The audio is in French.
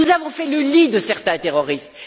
Nous avons fait le lit de certains terroristes!